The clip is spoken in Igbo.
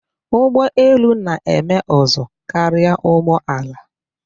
Ugbọelu na-eme ụzụ karia ụgbọala.